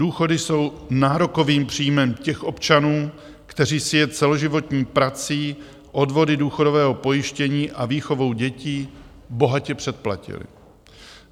Důchody jsou nárokových příjmem těch občanů, kteří si je celoživotní prací, odvody důchodového pojištění a výchovou dětí, bohatě předplatili.